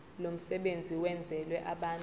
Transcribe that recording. lomsebenzi wenzelwe abantu